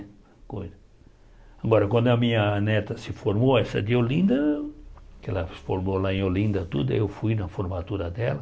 Agora, quando a minha neta se formou, essa de Olinda, que ela se formou lá em Olinda, tudo aí eu fui na formatura dela.